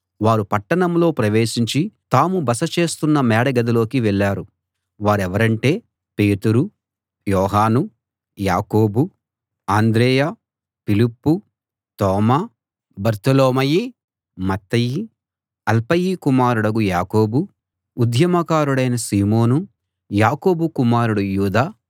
వారు పట్టణంలో ప్రవేశించి తాము బస చేస్తున్న మేడగదిలోకి వెళ్ళారు వారెవరంటే పేతురు యోహాను యాకోబు అంద్రెయ ఫిలిప్పు తోమా బర్తొలొమయి మత్తయి అల్ఫయి కుమారుడు యాకోబు ఉద్యమ కారుడైన సీమోను యాకోబు కుమారుడు యూదా